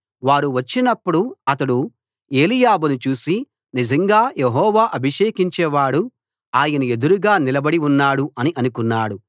వారు వచ్చినప్పుడు అతడు ఏలీయాబును చూసి నిజంగా యెహోవా అభిషేకించేవాడు ఆయన ఎదురుగా నిలబడి ఉన్నాడు అని అనుకున్నాడు